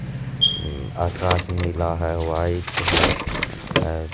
उम्म आकाश नीला है व्हाइट है।